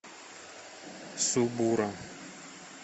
субура